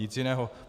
Nic jiného.